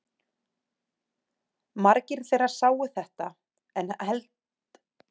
Margir þeirra sáu þetta en halda samt áfram að tilbiðja steina.